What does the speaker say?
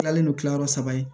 I kilalen don kilayɔrɔ saba ye